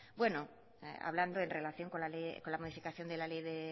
hablando en relación con la modificación de la ley de